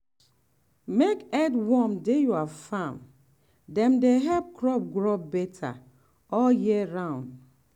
make earthworm dey your farm — dem dey help crop grow better all year round.